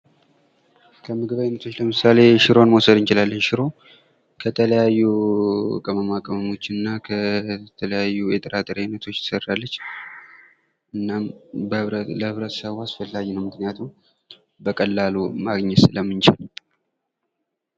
ከምግብ አይነቶች ለምሳሌ ሽሮን መውሰድ እንችላለን ። ሽሮ ከተለያዩ ቅመማ ቅመሞች እና ከተለያዩ የጥራጥሬ አይነቶች ትሰራለች ። እናም ለህብረተሰቡ አስፈላጊ ነው ምክንያቱም በቀላሉ ማግኘት ስለምንችል ።